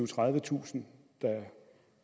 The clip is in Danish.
tredivetusind der